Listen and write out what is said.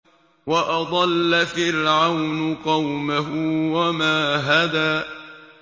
وَأَضَلَّ فِرْعَوْنُ قَوْمَهُ وَمَا هَدَىٰ